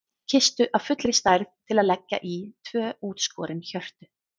Kistu af fullri stærð til að leggja í tvö útskorin hjörtu.